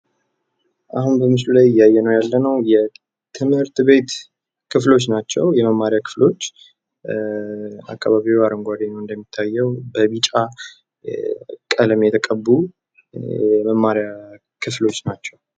አሁን በምስሉ ላይ እያየንው ያለንው የትምህርት ቤት ክፍሎች ናቸው። የመማሪያ ክፍሎች አካባቢው አረንጓዴ ነው እንደሚታየው በቢጫ ቀለም የተቀቡ የመማሪያ ክፍሎች ናቸው።